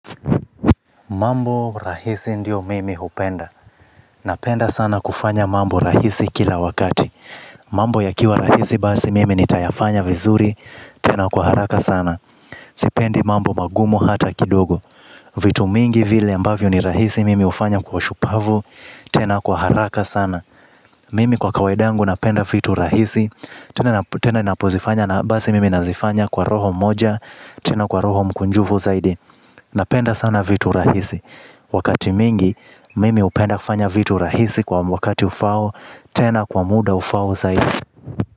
Mambo rahisi ndio mimi hupenda. Napenda sana kufanya mambo rahisi kila wakati. Mambo yakiwa rahisi badi mimi nitayafanya vizuri. Tena kwa haraka sana. Sipendi mambo magumu hata kidogo. Vitu mingi vile ambavyo ni rahisi mimi hufanya kwa ushupavu. Tena kwa haraka sana. Mimi kwa kawaid yangu napenda fitu rahisi. Tena napozifanya na basi mimi nazifanya kwa roho moja. Tena kwa roho mkunjufu zaidi. Napenda sana vitu rahisi. Wakati mingi mimi hupenda kufanya vitu rahisi kwa wakati ufao. Tena kwa muda ufao zaidi.